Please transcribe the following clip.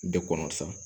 De kɔnɔ sa